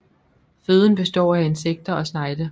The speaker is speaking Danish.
Føden består af insekter og snegle